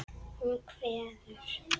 Hún kveður.